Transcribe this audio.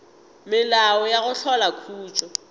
melao ya go hlola khutšo